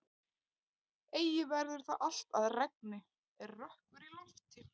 Eigi verður það allt að regni er rökkur í lofti.